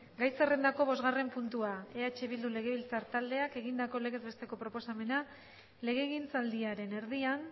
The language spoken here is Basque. gai zerrendako bosgarren puntua eh bildu legebiltzar taldeak egindako legez besteko proposamena legegintzaldiaren erdian